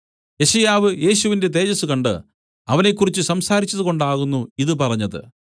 യെശയ്യാവു യേശുവിന്റെ തേജസ്സ് കണ്ട് അവനെക്കുറിച്ച് സംസാരിച്ചത് കൊണ്ടാകുന്നു ഇതു പറഞ്ഞത്